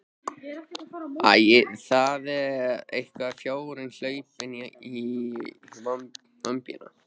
Æ, það er einhver fjárinn hlaupinn í vömbina.